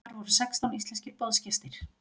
Þar voru sextán íslenskir boðsgestir.